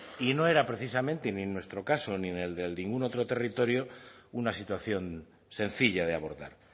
y no era precisamente ni nuestro caso ni el de ningún otro territorio una situación sencilla de abordar